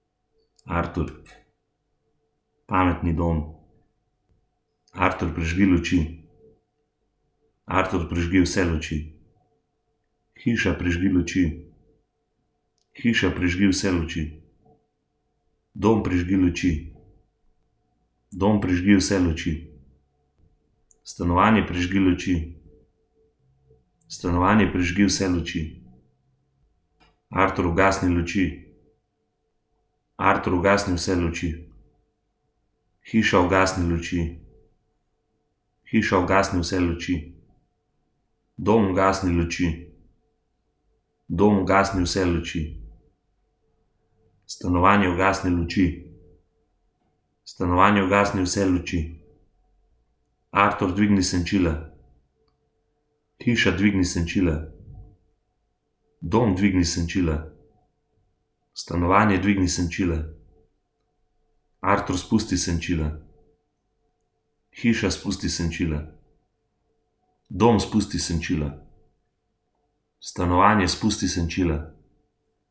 Artur. Pametni dom. Artur, prižgi luči. Artur, prižgi vse luči. Hiša, prižgi luči. Hiša, prižgi vse luči. Dom, prižgi luči. Dom, prižgi vse luči. Stanovanje, prižgi luči. Stanovanje, prižgi vse luči. Artur, ugasni luči. Artur, ugasni vse luči. Hiša, ugasni luči. Hiša, ugasni vse luči. Dom, ugasni luči. Dom, ugasni vse luči. Stanovanje, ugasni luči. Stanovanje, ugasni vse luči. Artur, dvigni senčila. Hiša, dvigni senčila. Dom, dvigni senčila. Stanovanje, dvigni senčila. Artur, spusti senčila. Hiša, spusti senčila. Dom, spusti senčila. Stanovanje, spusti senčila.